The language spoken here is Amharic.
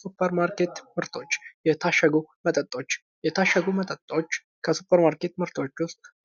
ሱፕርማርከት ምርቶች፤ የታሸገው መጠጦች፤ የታሸጉ መጠጦች ከሱፕርማርከት ምርቶች